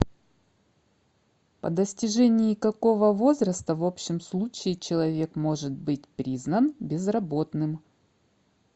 по достижении какого возраста в общем случае человек может быть признан безработным